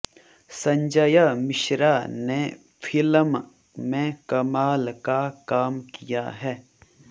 संजय मिश्रा ने फिल्म में कमाल का काम किया है